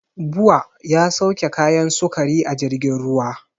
Bua ya sauke kayan sukari a jirgin ruwa